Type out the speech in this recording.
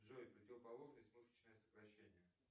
джой противоположность мышечное сокращение